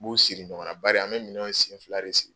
N b'u siri ɲɔgɔn na bari an be minɛnw sen fila de si